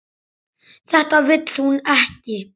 Þetta vill hún ekki.